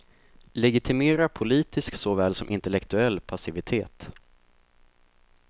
Legitimera politisk såväl som intellektuell passivitet.